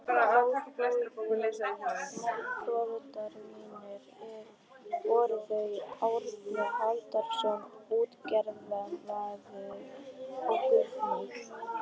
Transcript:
Móðurforeldrar mínir voru þau Árni Halldórsson útgerðarmaður og Guðný